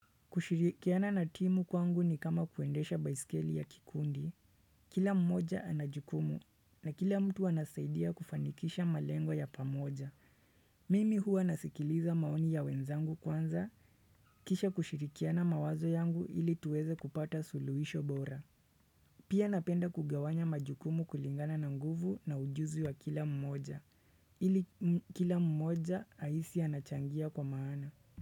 Kushirikiana na timu kwangu ni kama kuendesha baisikeli ya kikundi Kila mmoja ana jukumu na kila mtu anasaidia kufanikisha malengwa ya pamoja Mimi huwa nasikiliza maoni ya wenzangu kwanza kisha kushirikiana mawazo yangu ili tuweze kupata suluhisho bora Pia napenda kugawanya majukumu kulingana na nguvu na ujuzi wa kila mmoja ili kila mmoja ahisi anachangia kwa maana.